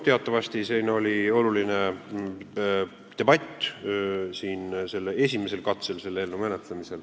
Teatavasti oli esimesel katsel selle eelnõu menetlemisel siin oluline debatt.